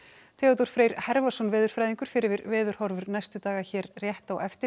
Theodór Freyr veðurfræðingur fer yfir veðurhorfur næstu daga hér rétt á eftir